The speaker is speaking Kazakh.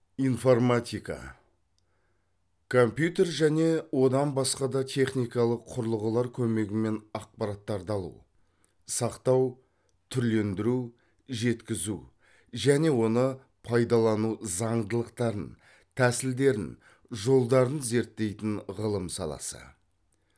информатика компьютер және одан басқа да техникалық құрылғылар көмегімен ақпараттарды алу сақтау түрлендіру жеткізу және оны пайдалану зандылықтарын тәсілдерін жолдарын зерттейтін ғылым саласы